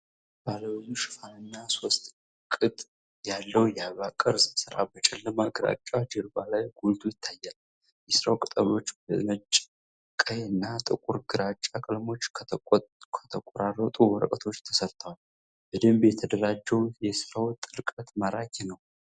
ባለብዙ ሽፋንና ሶስት ቅጥ(3D) ያለው የአበባ ቅርጽ ስራ በጨለማ ግራጫ ጀርባ ላይ ጎልቶ ይታያል። የስራው ቅጠሎች በነጭ፣ ቀይ እና ጥቁር ግራጫ ቀለሞች ከተቆራረጡ ወረቀቶች ተሰርተዋል። በደንብ የተደራጀው የሥራው ጥልቀት ማራኪ ነው።